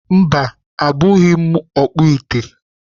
Mba, abụghị m ọkpụ ite.